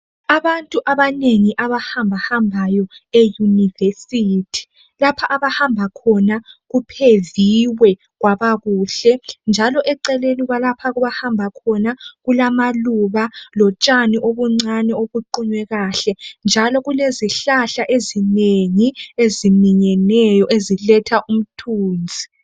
Abantu abanengi abahamba hambayo eyunivesithi. Lapha abahamba khona kupheviwe kwabakuhle. Njalo eceleni kwalapha abahamba khona kulamaluba lotshani obuncani obuqunywe kahle. Njalo kulezihlahla ezinengi eziminyeneyo, eziletha umthunzi.